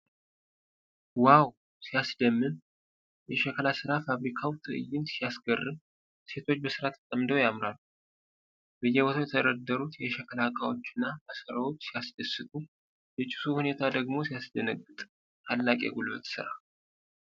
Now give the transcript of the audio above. ዋው! ሲያስደምም! የሸክላ ሥራ ፋብሪካው ትዕይንት ሲያስገርም! ሴቶቹ በሥራ ተጠምደው ያምራሉ። በየቦታው የተደረደሩት የሸክላ ዕቃዎችና ማሰሮዎች ሲያስደስቱ! የጭሱ ሁኔታ ደግሞ ሲያስደነግጥ! ታላቅ የጉልበት ሥራ!